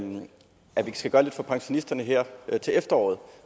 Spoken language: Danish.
skal gøre lidt for pensionisterne her til efteråret